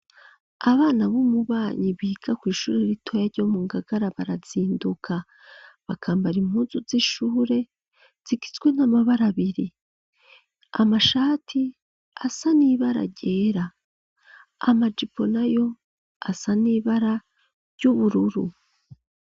Abana b'umubanyi biga kw'ishuri ritoya ryo mu Ngagara barazinduka bakambara impuzu z'ishure zigizwe n'amabara abiri, amashati asa n'ibara ryera, amajipo nayo asa n'ibara ry'ubururu.